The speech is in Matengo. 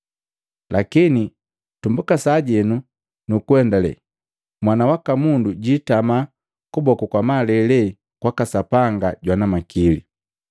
Lakini tumbuka sajeno nukuendalee, Mwana waka Mundu jiitama kuboku kwa malele kwaka Sapanga jwana makili.”